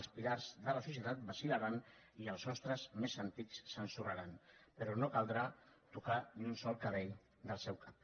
els pilars de la societat vacilmés antics s’ensorraran però no caldrà tocar ni un sol cabell del seu cap